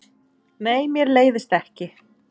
Nei, mér leiðist ekki.